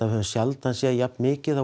höfum sjaldan séð jafn mikið af